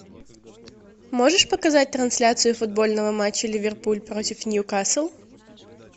можешь показать трансляцию футбольного матча ливерпуль против ньюкасл